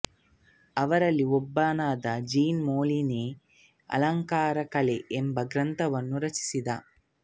ಅವರಲ್ಲಿ ಒಬ್ಬನಾದ Jean Molinet ಅಲಂಕಾರ ಕಲೆ ಎಂಬ ಗ್ರಂಥವನ್ನು ರಚಿಸಿದ